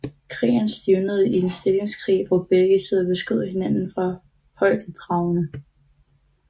Krigen stivnede i en stillingskrig hvor begge sider beskød hinanden fra højdedragene